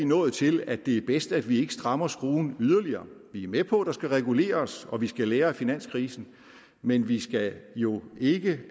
nået til at det er bedst at vi ikke strammer skruen yderligere vi er med på at der skal reguleres og at vi skal lære af finanskrisen men vi skal jo ikke